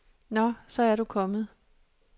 Nå, så er du kommet.